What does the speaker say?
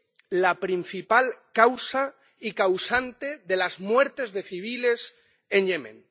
es la principal causa y causante de las muertes de civiles en Yemen.